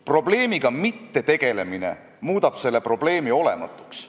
Ometi olen mina siin teie ees, mitte teie ei ole meie ees, et anda Keeleinspektsioonile kaasaegsemad instrumendid.